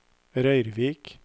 Røyrvik